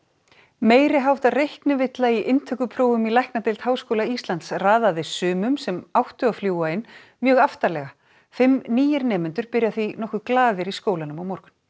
meiri háttar reiknivilla í inntökuprófum í læknadeild Háskóla Íslands raðaði sumum sem áttu að fljúga inn mjög aftarlega fimm nýir nemendur byrja því nokkuð glaðir í skólanum á morgun